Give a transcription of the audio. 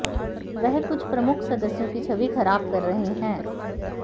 वह कुछ प्रमुख सदस्यों की छवि खराब कर रहे हैं